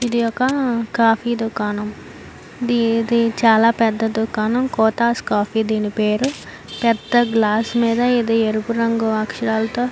ఇదొక కాఫీ దుకాణం. ఇది చాల పెద్ద దుకాణం. కోతస్ కాఫీ దీని పేరు. పెద్ద గ్లాస్ మీద ఇది ఎరుపు రంగు అక్షరాలతో --